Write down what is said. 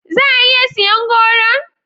Za a iya siyan goron?